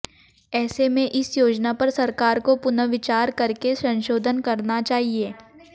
ऐसे में इस योजना पर सरकार को पुनर्विचार करके संसोधन करना चाहिए